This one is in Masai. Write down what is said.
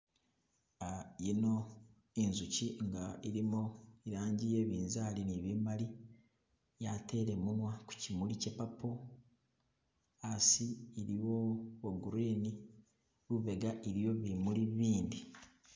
Yino inzuchi nga ilimo ilangi ye binzali ni bimali yatele munya kuchimuli kye purple hasi iliwo bwo green lubega iliyo bimui bindi..